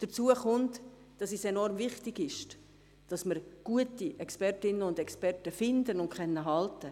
Hinzu kommt, dass es enorm wichtig ist, dass wir gute Expertinnen und Experten finden und halten können.